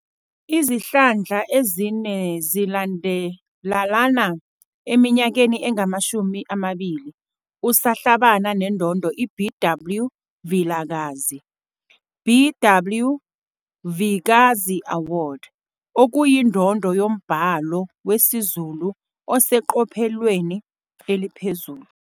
Izihlandla ezine zilandelalana, eminyakeni engama-20 usahlabana neNdondo iBW Vilakazi, "BW Vikazi Award", okuyindondo yombhalo wesiZulu oseqophelweni eliphezulu.